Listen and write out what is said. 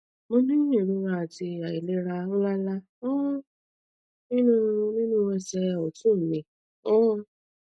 mo ní ìrora àti àìlera ńláǹlà um nínú nínú ẹsẹ òtún mi um